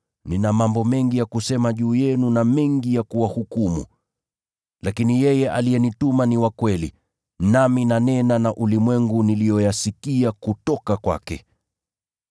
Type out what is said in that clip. Nina mambo mengi ya kusema juu yenu na mengi ya kuwahukumu. Lakini yeye aliyenituma ni wa kweli, nami nanena na ulimwengu niliyoyasikia kutoka kwake.”